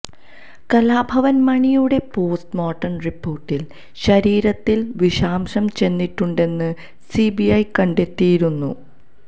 കലാഭവന് മണിയുടെ post mortem റിപ്പോര്ട്ടില് ശരീരത്തില് വിഷാംശം ചെന്നിട്ടുണ്ടെന്ന് സിബിഐ കണ്ടെത്തിയിരുന്നു